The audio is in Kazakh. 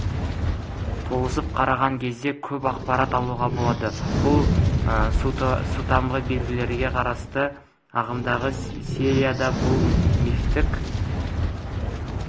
тосып қараған кезде көп ақпарат алуға болады бұл сутамғы белгілерге қатысты ағымдағы серияда бұл мифтік